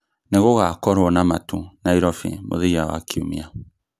nĩ gũgakorwo na matu Nairobi mũthia wa kiumia